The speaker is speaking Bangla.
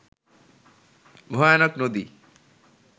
ভয়ানক নদী